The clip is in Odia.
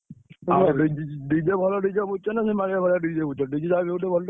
DJ ଭଲ DJ ବୁଝିଚ ନା ସେଇ ନା ନା DJ ଭଲ